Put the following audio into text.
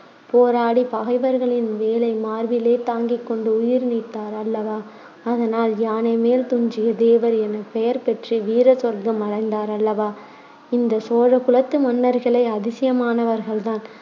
போராடிப் பகைவர்களின் வேலை மார்பிலே தாங்கிக் கொண்டு உயிர்நீத்தார் அல்லவா அதனால் யானை மேல் துஞ்சிய தேவர் எனப் பெயர்பெற்று வீர சொர்க்கம் அடைந்தார் அல்லவா இந்தச் சோழ குலத்து மன்னர்களே அதிசயமானவர்கள்தான்